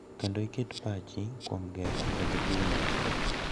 Kendo iket pachni kuom gero kendo jiwo winjruok.